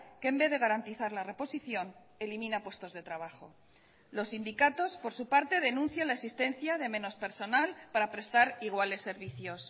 que en vez de garantizar la reposición elimina puestos de trabajo los sindicatos por su parte denuncian la existencia de menos personal para prestar iguales servicios